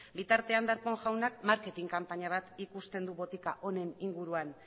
bitartean darpón jaunak marketing kanpaina bat ikusten du botika honen inguruan